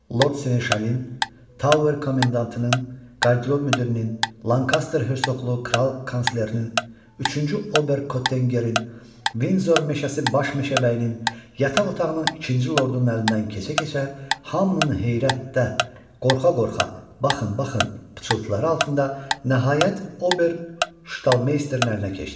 Lord Senin Şalin, Tower komendantının, qardrob müdirinin, Lankaster hersoqlu kral konslerlərinin, üçüncü Ober Kottenqerin, Vinzor meşəsi Baş meşəbəyinin, yataq otağının ikinci lordunun əlindən keçə-keçə hamının heyrətdə, qorxa-qorxa baxın, baxın pıçıltıları altında nəhayət Ober Ştalmeysterin əlinə keçdi.